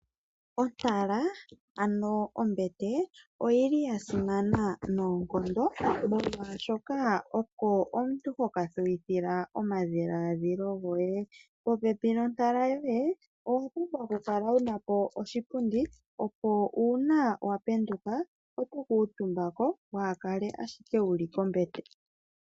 Ontala ano ombete oyili yasimana noonkondo molwashoka oko omuntu hokathuwithila omadhiladhilo goye. Popepi nontala yoye oho vulu oku kala wuna po oshipundi opo uuna wapenduka oto kuutumba ko wahakale ashike wuli kombete.